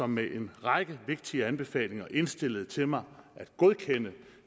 med en række vigtige anbefalinger indstillede til mig at godkende